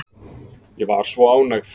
Ég var svo ánægð.